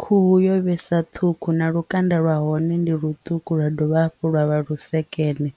Khuhu yo vhesa ṱhukhu na lukanda lwa hone ndi ḽuṱuku lwa dovha hafhu lwa vha lusekene